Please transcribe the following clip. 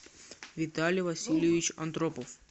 виталий васильевич андропов